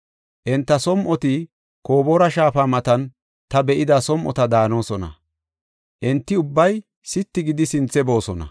Enta som7oti Koboora shaafa matan ta be7ida som7ota daanosona. Enti ubbay sitti gidi sinthe boosona.